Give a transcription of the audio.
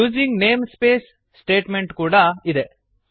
using name space statement ಕೂಡಾ ಇದೆ